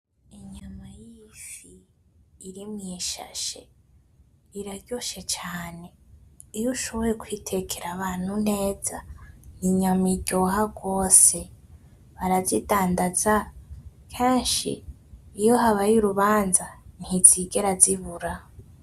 Ifi iri mu ishashi iraryoshye cane iyo ushoboye kuyitekera abantu neza n'inyama iryoha gose barazidandaza keshi iyo habaye urubanza ntizigerazibura.